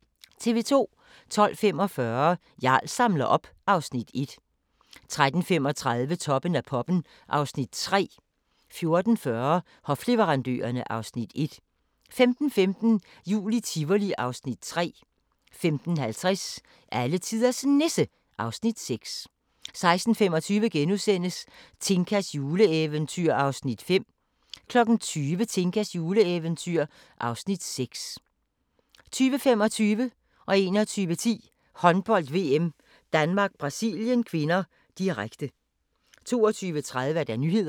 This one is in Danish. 12:45: Jarl samler op (Afs. 1) 13:35: Toppen af poppen (Afs. 3) 14:40: Hofleverandørerne (Afs. 1) 15:15: Jul i Tivoli (Afs. 3) 15:50: Alletiders Nisse (Afs. 6) 16:25: Tinkas juleeventyr (Afs. 5)* 20:00: Tinkas juleeventyr (Afs. 6) 20:25: Håndbold: VM - Danmark-Brasilien (k), direkte 21:10: Håndbold: VM - Danmark-Brasilien (k), direkte 22:30: Nyhederne